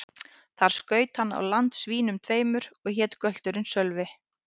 Þar skaut hann á land svínum tveimur, og hét gölturinn Sölvi.